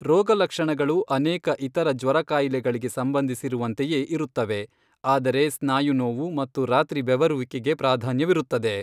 ರೋಗಲಕ್ಷಣಗಳು ಅನೇಕ ಇತರ ಜ್ವರ ಕಾಯಿಲೆಗಳಿಗೆ ಸಂಬಂಧಿಸಿರುವಂತೆಯೇ ಇರುತ್ತವೆ, ಆದರೆ ಸ್ನಾಯು ನೋವು ಮತ್ತು ರಾತ್ರಿ ಬೆವರುವಿಕೆಗೆ ಪ್ರಾಧಾನ್ಯವಿರುತ್ತದೆ.